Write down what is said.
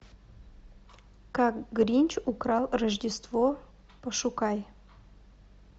как гринч украл рождество пошукай